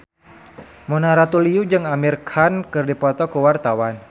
Mona Ratuliu jeung Amir Khan keur dipoto ku wartawan